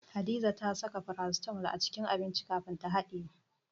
Hadiza ta saka farasitamol a cikin abinci kafin ta haɗiye.